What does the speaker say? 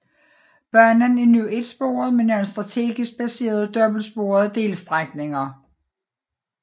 Banen er nu etsporet med nogle strategisk placerede dobbeltsporede delstrækninger